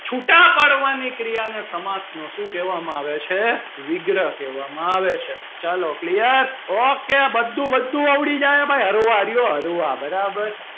છુટા પાડવાની ક્રિયા ને સમાસ માં શું કહેવામાં આવે છે વિગ્રહ કહેવામાં આવે છે ચાલો clear okay બધું બધું આવડી જાય ભાઈ બરાબર.